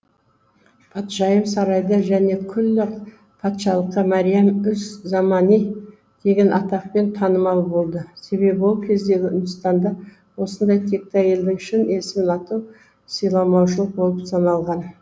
патшайым сарайда және күллі патшалыққа мәриям үз замани деген атақпен танымал болды себебі ол кездегі үндістанда осындай текті әйелдің шын есімін атау сыйламаушылық болып саналған